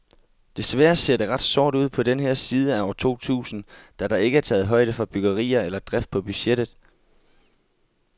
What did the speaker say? Desværre ser det ret sort ud på den her side af år totusind, da der ikke er taget højde for byggerier eller drift på budgettet.